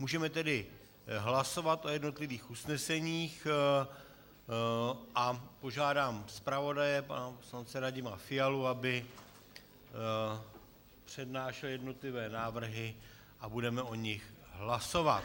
Můžeme tedy hlasovat o jednotlivých usneseních a požádám zpravodaje pana poslance Radima Fialu, aby přednášel jednotlivé návrhy, a budeme o nich hlasovat.